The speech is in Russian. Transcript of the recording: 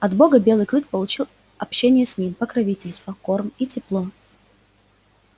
от бога белый клык получил общение с ним покровительство корм и тепло